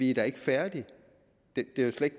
ikke er færdige det er jo slet